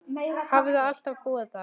Hafði alltaf búið þar.